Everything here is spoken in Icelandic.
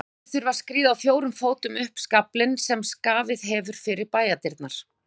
Þeir þurfa að skríða á fjórum fótum upp skaflinn sem skafið hefur fyrir bæjardyrnar.